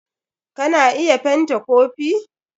Ka na iya fent kopi.